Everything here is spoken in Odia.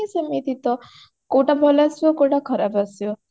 ସେମିତି ତ କୋଉଟା ଭଲ ଆସିବ କୋଉଟା ଖରାପ ଆସିବ